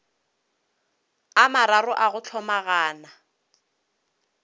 a mararo a go hlomagana